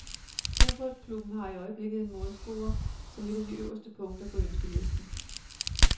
Fodboldklubben har i øjeblikket en målscorer som et af de øverste punkter på ønskelisten.